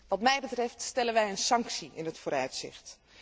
Wat mij betreft stellen wij een sanctie in het vooruitzicht.